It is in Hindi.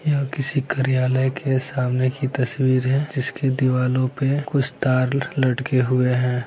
यह किसी कार्यालय के सामने की तस्वीर है जिसकी दीवालो पे कुछ तार लटके हुए हैं ।